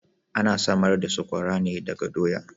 Ana samar da saƙwara ne daga doya.